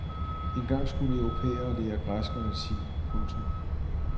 Engang skulle europæere lære græsk og latin. punktum